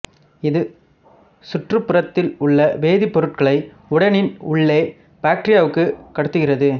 இது சுற்றுப்புறத்தில் உள்ள வேதிப் பொருட்களை உடலின் உள்ளே பாக்டீரியாவுக்குக் கடத்துகிறது